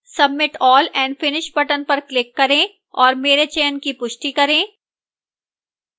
submit all and finish button पर click करें और मेरे चयन की पुष्टि करें